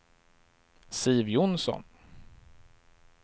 Siv Jonsson